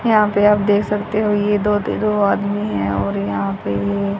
यहां पे आप देख सकते हो ये दो आदमी है और यहां पे--